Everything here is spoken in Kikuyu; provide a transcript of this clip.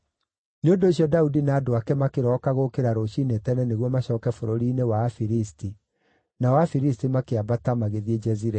Nĩ ũndũ ũcio Daudi na andũ ake makĩrooka gũũkĩra rũciinĩ tene nĩguo macooke bũrũri-inĩ wa Afilisti, nao Afilisti makĩambata magĩthiĩ Jezireeli.